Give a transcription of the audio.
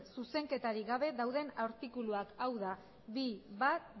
zuzenketarik gabe daude artikuluak hau da bi puntu bat